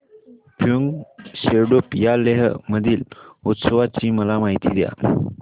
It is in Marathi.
फ्यांग सेडुप या लेह मधील उत्सवाची मला माहिती द्या